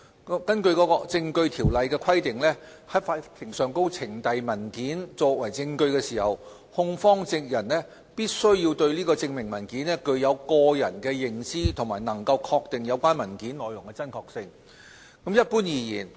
根據《證據條例》的規定，在法庭上呈交文件作為證據時，控方證人必須對證明文件具有親身認識，並能確定有關文件內容的真確性。